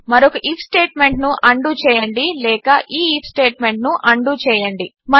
మరొక ఐఎఫ్ స్టేట్మెంట్ను ఉండో చేయండి లేక ఈ ఐఎఫ్ స్టేట్మెంట్ను ఉండో చేయండి